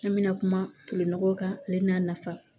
An bɛna kuma tolon kan ale n'a nafa